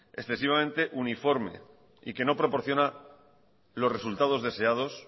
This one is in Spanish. excesivamente uniforme y que no proporciona los resultados deseados